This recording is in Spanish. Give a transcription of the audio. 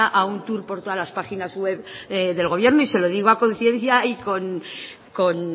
a un tour por todas las páginas webs del gobierno y se lo digo a conciencia y con